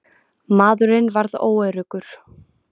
Maðurinn varð óöruggur.